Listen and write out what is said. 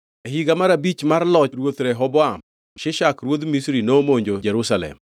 E higa mar abich mar loch ruoth Rehoboam, Shishak ruodh Misri nomonjo Jerusalem.